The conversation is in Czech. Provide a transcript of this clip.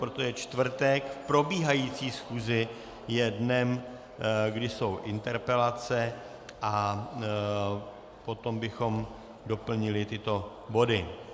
Protože je čtvrtek, v probíhající schůzi je dnem, kdy jsou interpelace, a potom bychom doplnili tyto body.